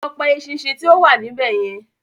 Lọ pa eṣinṣin tí ó wà níbẹ̀ yen